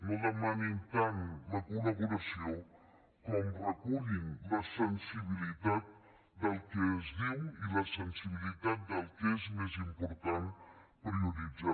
no demanin tant la col·laboració com recullin la sensibilitat del que es diu i la sensibilitat del que és més important prioritzar